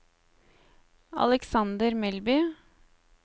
Alexander Melby